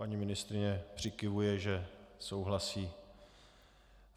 Paní ministryně přikyvuje, že souhlasí.